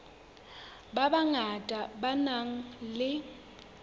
ba bangata ba nang le